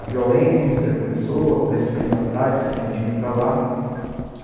A violência começou, o crescimento da cidade se expandindo para lá.